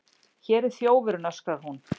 Hér er þjófurinn, öskrar hún.